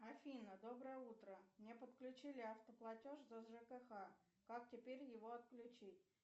афина доброе утро мне подключили автоплатеж за жкх как теперь его отключить